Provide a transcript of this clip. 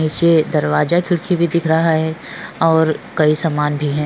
नीचे दरवाज खिडकी भी दिख रहा है और कई सामान भी है।